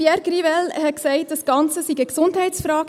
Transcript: Pierre Grivel hat gesagt, das Ganze sei eine Gesundheitsfrage: